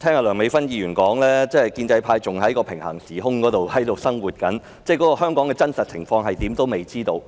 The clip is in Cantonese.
梁美芬議員的說法，顯示建制派真的仍活於平行時空，尚未知道香港的真實情況如何。